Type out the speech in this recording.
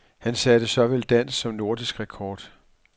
Han satte såvel dansk som nordisk rekord.